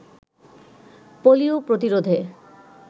polio প্রতিরোধে